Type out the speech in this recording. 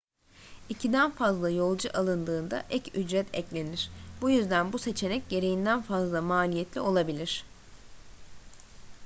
i̇kiden fazla yolcu alındığında ek ücret eklenir. bu yüzden bu seçenek gereğinden fazla maliyetli olabilir